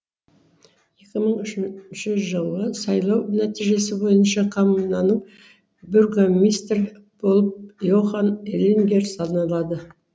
екі мың үшінші жылғы сайлау нәтижесі бойынша коммунаның бургомистр болып йохан элингер саналады